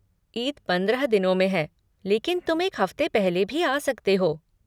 ईद पंद्रह दिनों में है लेकिन तुम एक हफ़्ते पहले ही आ सकते हो।